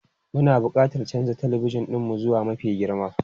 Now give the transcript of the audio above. Muna buƙatar canza talabijin ɗinmu zuwa mafi girma.